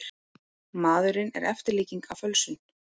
Maðurinn er eftirlíking af fölsun.